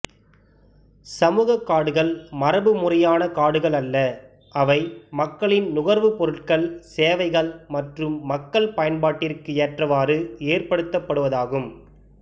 சமூகக்காடுகள் மரபுமுறையான காடுகள் அல்ல அவை மக்களின் நுகர்வுப் பொருட்கள் சேவைகள் மற்றும் மக்கள் பயன்பாட்டிற்கு ஏற்றவாறு ஏற்படுத்தப்படுவதாகும்